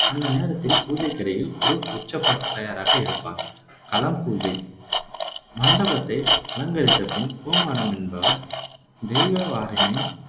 அந்த நேரத்தில் பூஜைக்கிடையில் குருப் உச்சப்பாட்டுக்குத் தயாராக இருப்பார் களம் பூஜை மண்டபத்தை அலங்கரித்தபின் கொமாரம் என்பவர் தெய்வ வாளினை